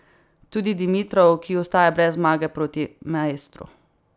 Tudi Dimitrov, ki ostaja brez zmage proti maestru.